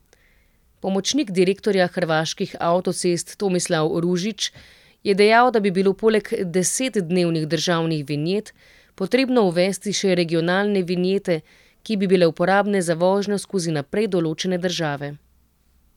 Pomočnik direktorja Hrvaških avtocest Tomislav Ružić je dejal, da bi bilo poleg desetdnevnih državnih vinjet, potrebno uvesti še regionalne vinjete, ki bi bile uporabne za vožnjo skozi naprej določene države.